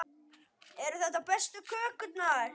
Eru þetta bestu kökurnar?